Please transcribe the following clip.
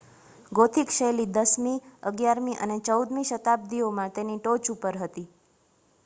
gothic શૈલી 10મી -11મી અને 14મી શતાબ્દીઓમાં તેની ટોચ ઉપર હતી